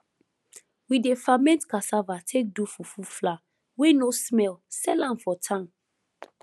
we dey ferment cassava take do fufu flour wey no smell sell am for town